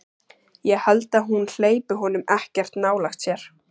Ég held að hún hleypi honum ekkert nálægt sér.